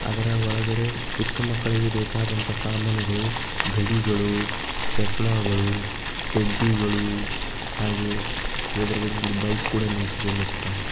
ಅದರ ಒಳಗಡೆ ಚಿಕ್ಕ ಮಕ್ಕಳಿಗೆ ಬೇಕಾದಂತಹ ಸಾಮಾನುಗಳು ಗಡಿಗಳು ಚಸ್ಮಗಳು ಟೆಡ್ಡಿ ಗಳು ಹಾಗೆ ಎದ್ರುಗಡೆ ಒಂದು ಬೈಕ್ ಕೂಡ ನಿಂತಿದೆ.